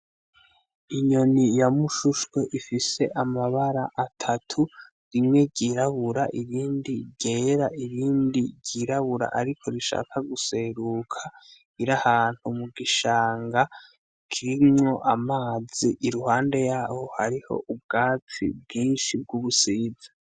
Inyoni ya mushushwe ifise amabara atatu rimwe ryirabura irindi ryera irindi ryirabura ariko rishaka guseruka, irahantu mu gishanga kirimywo amazi i ruhande yabo hariho ubwaci bwinshi bw'ubusinzi.